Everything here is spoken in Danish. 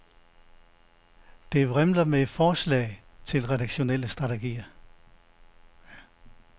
Det vrimler med forslag til redaktionelle strategier.